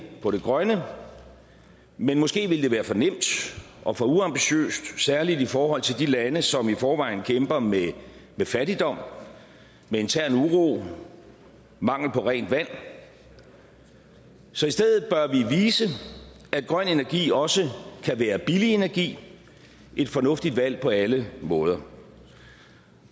på det grønne men måske ville det være for nemt og for uambitiøst særlig i forhold til de lande som i forvejen kæmper med fattigdom med intern uro og mangel på rent vand så i stedet bør vi vise at grøn energi også kan være billig energi et fornuftigt valg på alle måder